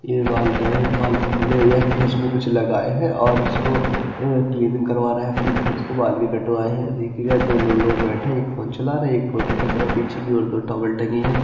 यह यह फेस में कुछ लगाए हैं और उसको क्लीनिंग करवा रहें हैं अपने फेस को बाल भी कटवाए हैं। एक या दो लोग बैठे है एक फ़ोन चला रहें हैं एक फोटो खींच रहें हैं। पीछे की ओर दो टॉवल टंगी हैं --